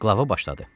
Qlava başladı.